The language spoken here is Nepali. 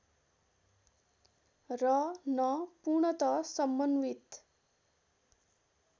र न पूर्णत समन्वित